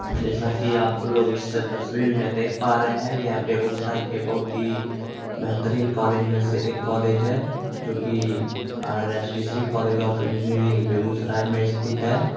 अब जैसा की आप लोग इस तसवीर मे देख प रहे है ये बेगुसराई के बोहत ही बेहतरीन कॉलेज मे से एक कॉलेज है जोकी RSD college of engineering Begusarai मे स्थित है।